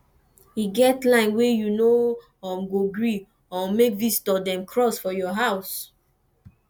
e get line wey you no um go gree um make visitor dem cross for your house